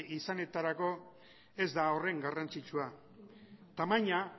izanetarako ez da horren garrantzitsua